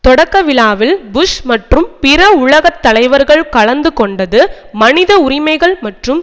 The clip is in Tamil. தொடக்கவிழாவில் புஷ் மற்றும் பிற உலக தலைவர்கள் கலந்து கொண்டது மனித உரிமைகள் மற்றும்